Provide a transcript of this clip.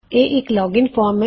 ਇਹ ਇੱਕ login form ਹੈ